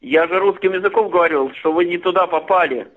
я же русским языком говорю что вы не туда попали